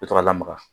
I bɛ to ka lamaga